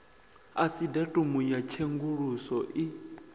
asi datumu ya tshenguluso i